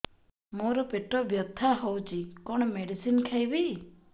ମୋର ପେଟ ବ୍ୟଥା ହଉଚି କଣ ମେଡିସିନ ଖାଇବି